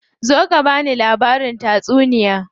Zo ka bani labarin tatsuniya.